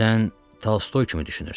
Sən Tolstoy kimi düşünürsən.